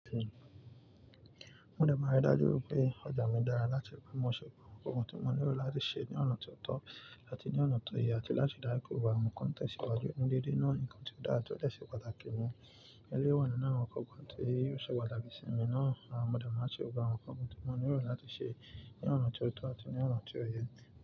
Mo dẹ̀ máa rí dájú pé ọjà mi dára láti mú ọ̀ṣọ́ àwọn nǹkan tí mo nílò láti ṣe ní ọ̀nà tó tọ́ àti ní ọ̀nà tó yẹ àti láti dá ìkòwá àwọn kọ́ntẹ̀ síwájú. Ǹdídé náà ni nǹkan tí ó dára tí ó dè ṣe pàtàkì mọ́. Èlé wa ninu àwọn nǹkankan tó ò ṣe pàtàkì sí mi náà. Àwọn mọdé máa ṣe gbogbo àwọn nǹkan tí mo nílò láti ṣe ní ọ̀nà tó tọ́ àti ní ọ̀nà tó yẹ.